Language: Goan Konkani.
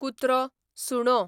कुत्रो, सुणो